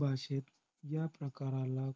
भाषेत ह्या प्रकाराला